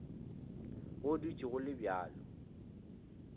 go dutše go le bjalo